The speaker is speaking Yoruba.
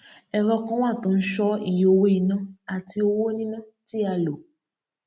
ẹrọ kan wà tó ń ṣọ iye owó iná àti owó níná tí a lò